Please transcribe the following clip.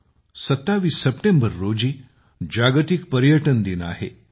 आजपासून दोन दिवसांनी 27 सप्टेंबर रोजी जागतिक पर्यटन दिन आहे